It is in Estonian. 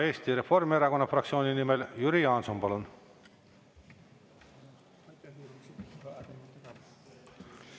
Eesti Reformierakonna fraktsiooni nimel Jüri Jaanson, palun!